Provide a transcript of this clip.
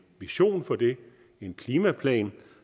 vision for det en klimaplan